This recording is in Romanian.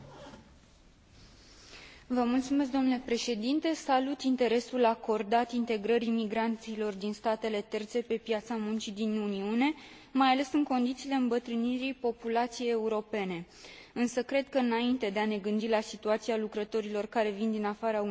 Salut interesul acordat integrării migranților din statele terțe pe piața muncii din Uniune, mai ales în condițiile îmbătrânirii populației europene, însă cred că, înainte de a ne gândi la situația lucrătorilor care vin din afara Uniunii, ar trebui să ne preocupăm de cei europeni,